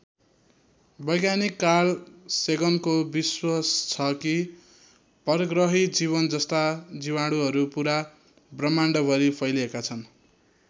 वैज्ञानिक कार्ल सेगनको विश्वास छ कि परग्रही जीवनजस्ता जीवाणुहरू पुरा ब्रह्माण्डभरी फैलिएका छन्।